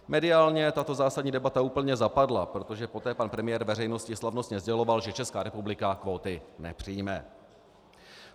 Mediálně tato zásadní debata úplně zapadla, protože poté pan premiér veřejnosti slavnostně sděloval, že Česká republika kvóty nepřijme.